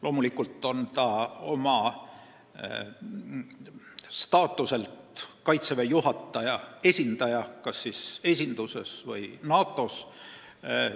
Loomulikult on ta oma staatuselt Kaitseväe juhataja esindaja kas esinduses või NATO-s.